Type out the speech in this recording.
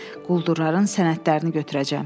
Quldurların sənədlərini götürəcəm.